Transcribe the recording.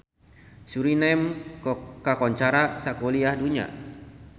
Suriname kakoncara sakuliah dunya